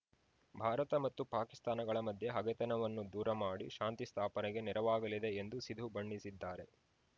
ಭಾರತ ಮತ್ತು ಪಾಕಿಸ್ತಾನಗಳ ಮಧ್ಯೆ ಹಗೆತನವನ್ನು ದೂರ ಮಾಡಿ ಶಾಂತಿ ಸ್ಥಾಪನೆಗೆ ನೆರವಾಗಲಿದೆ ಎಂದು ಸಿಧು ಬಣ್ಣಿಸಿದ್ದಾರೆ